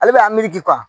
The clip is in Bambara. Ale bɛ a miiri